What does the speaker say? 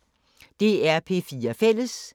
DR P4 Fælles